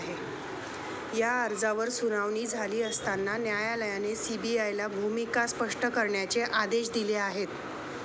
या अर्जावर सुनावणी झाली असता न्यायालयाने सीबीआयला भूमिका स्पष्ट करण्याचे आदेश दिले आहेत.